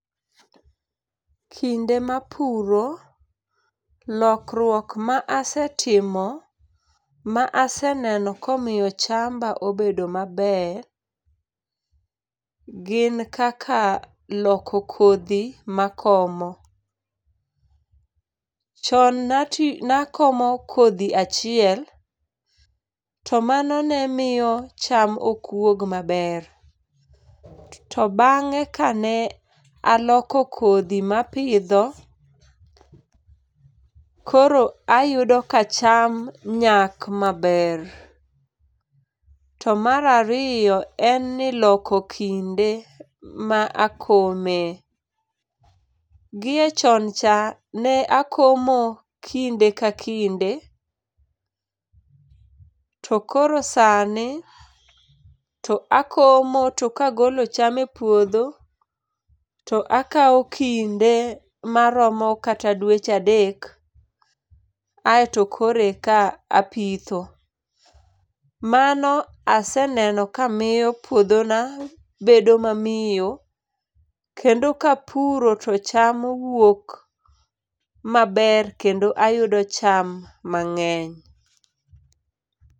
Kinde ma apuro lokruok ma asetimo ma aseneno ka omiyo chamba obedo maber [p]gin kaka loko kodhi ma akomo. Chon ne atiyo ne akomo kodhi achiel to mano ne miyo cham ok wuog maber, to bang'e ka ne aloko kodhi ma apidho koro ayudo ka cham nyak maber. To mar ariyo en ni loko kinde ma akome, gi e chon cha ne akomo kinde ka kinde to koro sani to akome to ka agolo cham e puodho to akawo kinde ma romo kata dweche adek ai to koro e ka a pitho. Mano aseneno ka miyo puodho na bedo ma miyo kendo ka apuro to cham wuok maber kendo ayudo cham mang'eny.